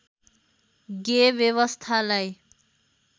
गेय व्यवस्थालाई